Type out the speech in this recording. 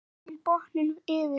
Leggið hinn botninn yfir.